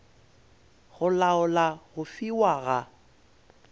go laola go fiwa ga